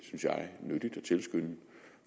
tilskynde